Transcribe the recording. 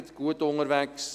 Sie ist gut unterwegs.